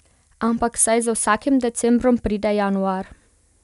Ampak saj za vsakim decembrom pride januar.